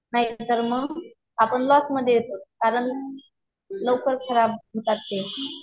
नाहीतर मग आपण लॉसमध्ये येतो कारण लवकर खराब होतात ते.